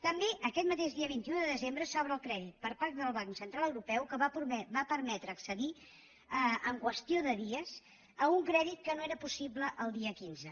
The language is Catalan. també aquest mateix dia vint un de desembre s’obre el crèdit per part del banc central europeu que va permetre accedir en qüestió de dies a un crèdit que no era possible el dia quinze